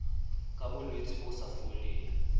ka bolwetse bo sa foleng